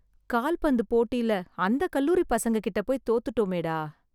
கால்பந்து போட்டியில அந்த கல்லூரிப் பசங்ககிட்டபோய் தோத்துட்டோமேடா...